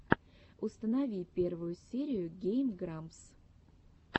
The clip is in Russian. установи первую серию гейм грампс